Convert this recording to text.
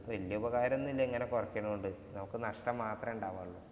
വല്യ ഉപകാരമൊന്നുമില്ല ഇങ്ങനെ കുറയ്ക്കുന്നോണ്ട്. നമുക്ക് നഷ്ടം മാത്രമേ ഉണ്ടാവുള്ളൂ.